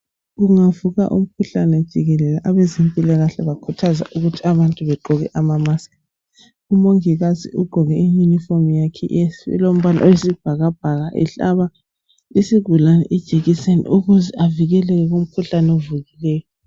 Kungavuka umkhuhlane jikelele abezempilakahle bayakhuthaza ukuthi abantu begqoke ama mask. Umongikazi ugqoke iyunifomi yakhe elombala wesibhakabhaka ehlaba isigulane ijekiseni ukuze avikeleke kumkhuhlane ovukileyo.